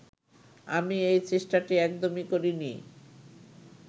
আমি এই চেষ্টাটি একদমই করিনি